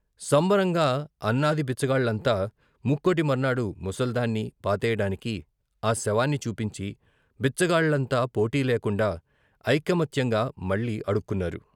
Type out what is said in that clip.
సంబరంగా అన్నాది బిచ్చగాళ్ళంతా, ముక్కోటి మర్నాడు ముసల్దాన్ని పాతేయడానికి ఆ శవాన్ని చూపించి బిచ్చగాళ్ళంతా పోటీలేండా ఐకమత్యంగా మళ్ళీ అడుక్కున్నారు.